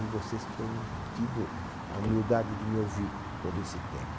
E vocês têm tido a humildade de me ouvir todo esse tempo.